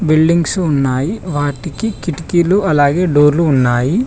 Buildings ఉన్నాయి వాటికి కిటికీలు అలాగే డోర్లు ఉన్నాయి.